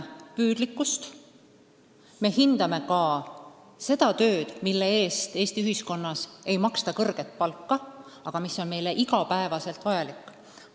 Ka hindame seda tööd, mille eest Eesti ühiskonnas ei maksta kõrget palka, aga mis on meile igapäevaselt vajalik.